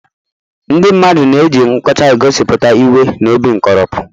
Ndị mmadụ na-eji nkọcha egosipụta iwe na obi nkoropụ.